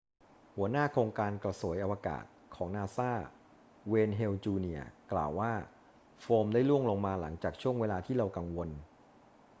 หัวหน้าโครงการกระสวยอวกาศของนาซา เวย์น เฮล จูเนียร์ กล่าวว่าโฟมได้ร่วงลงมา หลังจากช่วงเวลาที่เรากังวล